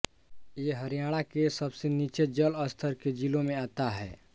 ये हरियाणा के सबसे नीचे जल स्तर के जिलों में आता है